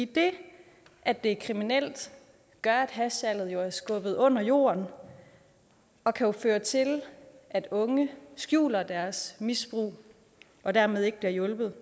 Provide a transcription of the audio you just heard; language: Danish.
det at det er kriminelt gør at hashsalget er skubbet under jorden og kan føre til at unge skjuler deres misbrug og dermed ikke bliver hjulpet